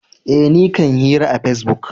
Eh, ni kan hira a pesbuk.